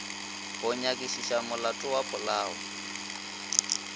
go nyakišiša molato wa polao